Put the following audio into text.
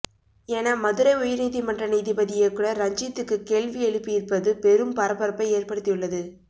என மதுரை உயர்நீதிமன்ற நீதிபதி இயக்குனர் ரஞ்சித்துக்கு கேள்வி எழுப்பியிருப்பது பெரும் பரபரப்பை ஏற்படுத்தியுள்ளது